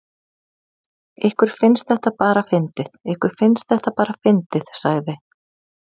Ykkur finnst þetta bara fyndið, ykkur finnst þetta bara fyndið sagði